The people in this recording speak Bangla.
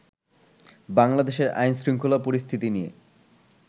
বাংলাদেশের আইনশৃঙ্খলা পরিস্থিতি নিয়ে